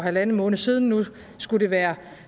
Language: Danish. en halv måned siden nu skulle det være